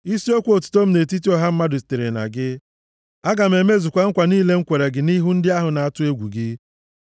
Isiokwu otuto m nʼetiti ọha mmadụ sitere na gị; aga m emezukwa nkwa niile m kwere gị nʼihu ndị ahụ na-atụ egwu gị.